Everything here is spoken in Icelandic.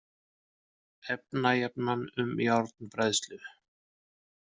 Efnajafnan um járnbræðslu